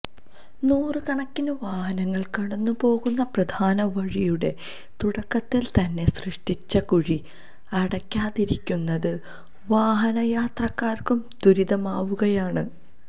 നൂറുകണക്കിന് വാഹനങ്ങൾ കടന്നുപോകുന്ന പ്രധാനവഴിയുടെ തുടക്കത്തിൽതന്നെ സൃഷ്ടിച്ച കുഴി അടക്കാതിരിക്കുന്നത് വാഹനയാത്രക്കാർക്കും ദുരിതമാവുകയാണ്